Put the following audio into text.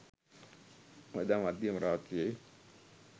එදා මධ්‍යම රාත්‍රියේ